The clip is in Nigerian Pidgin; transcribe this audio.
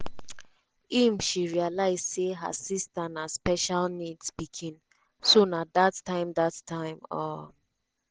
im she realise say her sister na special needs pikin so na dat time dat time um